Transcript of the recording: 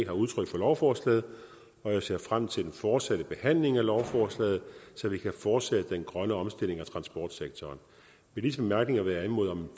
har udtrykt for lovforslaget og jeg ser frem til den fortsatte behandling af lovforslaget så vi kan fortsætte den grønne omstilling af transportsektoren med disse bemærkninger vil jeg anmode om en